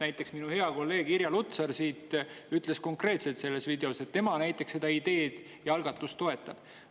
Näiteks minu hea kolleeg Irja Lutsar ütles selles videos konkreetselt, et tema seda ideed ja algatust toetab.